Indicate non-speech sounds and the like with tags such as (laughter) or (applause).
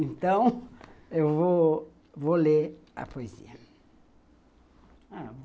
Então, (laughs) eu vou ler a poesia.